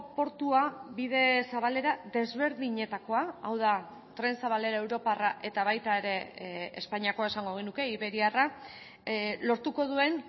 portua bide zabalera desberdinetakoa hau da tren zabalera europarra eta baita ere espainiakoa esango genuke iberiarra lortuko duen